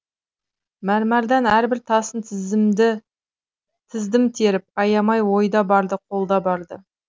мәрмәрдан әрбір тасын тіздім теріп аямай ойда барды қолда барды